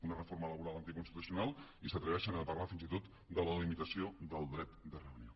una reforma laboral anticonstitucional i s’atreveixen a parlar fins i tot de la limitació del dret de reunió